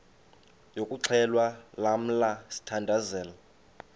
yokuxhelwa lamla sithandazel